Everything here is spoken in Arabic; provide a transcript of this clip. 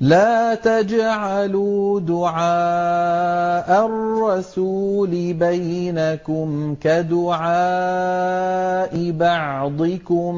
لَّا تَجْعَلُوا دُعَاءَ الرَّسُولِ بَيْنَكُمْ كَدُعَاءِ بَعْضِكُم